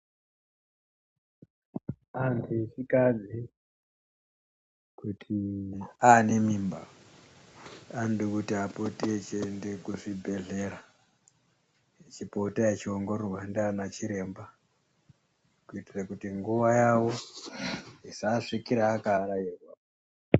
Antu echikadzi kuti anemimba anode kuti apote echiende kuzvibhedhlera echipota echiongororwa ndiana chiremba, kitire kuti nguva yavo isaasvikire akavarairwa.